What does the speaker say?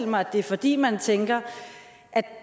mig at det er fordi man tænker at